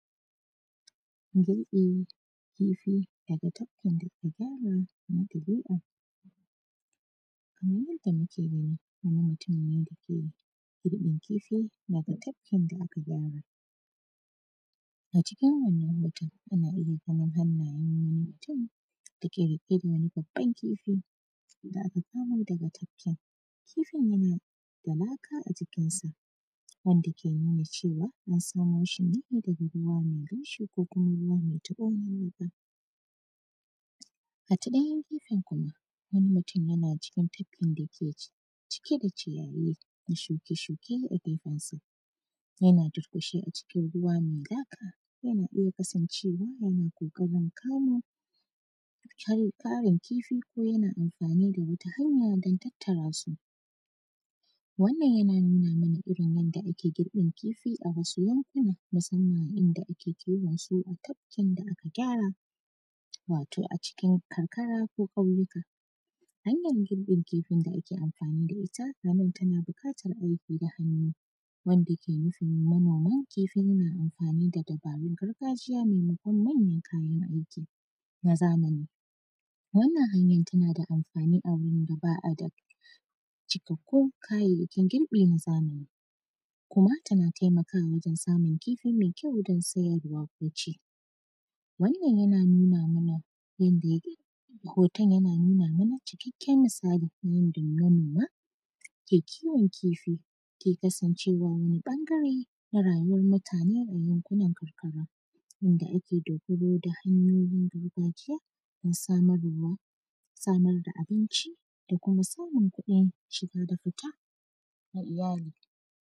Girƃin kifi daga tafkin dake galin na tabi’a. Kaman yanda muke gani, wani mutun ne da ke girƃin kifi daga tafkin da aka gyara. A cikin wannan hoton, ana iya ganin hannayen wani mutun da ke riƙe da wani babban kifi da aka kamo daga tafkin. Kifin yana da laka a jikinsa, wanda ke nuna cewa, an samo shi ne daga ruwa mai laushi ko kuma ruwa me taƃo ko laka. A ta ɗanyen gefen kuma, wani mutun yana cikin tafkin da ke ci; cike da ciyayi na shuke-shuke a gefensa, yana durƙushe a cikin ruwa me laka, yana iya kasancewa, yana ƙoƙarin kamo kyar; ƙarin kifi ko yana amfani da wata hanya don tattara su. Wannan, yana nuna mana irin yadda ake girƃin kifi a wasu yankuna, musamman inda ake kiwon su a tafkin da aka gyara, wato a cikin karkara ko ƙauyuka. Hnayar girƃin kifin da ake amfani da ita, a na tana biƙatar aiki da hannu wanda ke musumin Manama, kifi yana amfani da dabarun gargajiya memakon manyan kayan aiki na zamani. Wannan hanyan, tana da amfani a wurin da ba a da cikakkun kayayyakin girƃi na zamani kuma tana temakawa wajen samun kifi me kyau don sayarwa ko ci. Wannan, yana nuna mana yanda yak;, hoton yana nuna mana cikakken misali na yanda manoma ke kiwon kifi, ke kasancewa wani ƃangare na rayuwan mutane a yankunan karkara yanda ake dogaro da hanyoyin gargajiya na samarwa, samar da abinci, da kuma samun kuɗin shiga da fita na iyali.